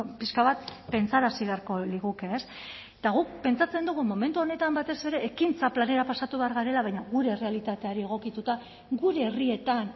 pixka bat pentsarazi beharko liguke ez eta guk pentsatzen dugu momentu honetan batez ere ekintza planera pasatu behar garela baina gure errealitateari egokituta gure herrietan